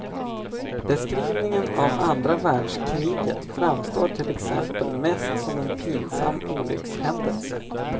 Beskrivningen av andra världskriget framstår till exempel mest som en pinsam olyckshändelse.